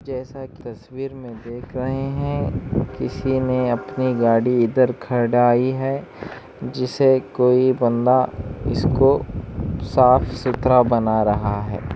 जैसा की तस्वीर में देख रहे है किसी ने अपने गाड़ी इधर खड़ाई है जिसे कोई बंदा इसको साफ-सुथरा बना रहा है।